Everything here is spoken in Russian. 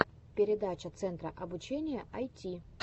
передача центра обучения айти